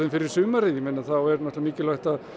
fyrir sumarið þá er mikilvægt að